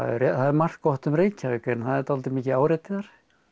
það er margt gott um Reykjavík en það er dálítið mikið áreiti þar